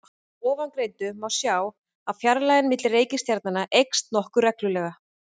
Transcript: Af ofangreindu má sjá að fjarlægðin milli reikistjarnanna eykst nokkuð reglulega.